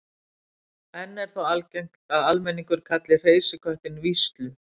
Enn er þó algengt að almenningur kalli hreysiköttinn víslu.